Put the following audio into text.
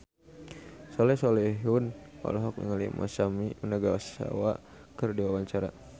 Soleh Solihun olohok ningali Masami Nagasawa keur diwawancara